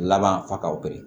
Laban fa ka biri